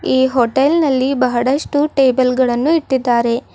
ಈ ಹೋಟೆಲ್ ನಲ್ಲಿ ಬಹಳಷ್ಟು ಟೇಬಲ್ ಗಳನ್ನು ಇಟ್ಟಿದ್ದಾರೆ.